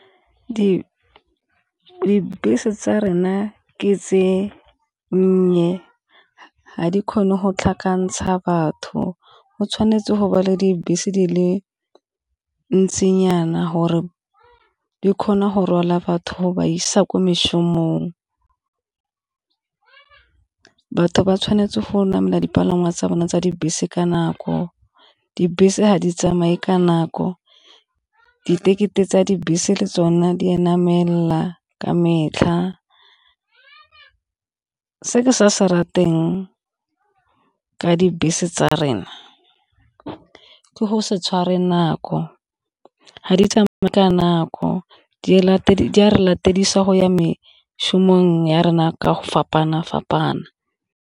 Dibese tsa rena ke tse nnye ga di kgone go tlhakantsha batho, go tshwanetse go ba le dibese di le ntsinyana gore di kgona go rwala batho ba isa kwa mešomong. Batho ba tshwanetse go namela dipalangwa tsa bone tsa dibese ka nako, dibese ga di tsamaye ka nako di-ticket e tsa dibese le tsone di anamela ka metlha. Se ke sa se rateng ke dibese tsa rena ke go se tshware nako ga di tsamaye ka nako, di a re go ya mešomong ya rena ka go fapana-fapana.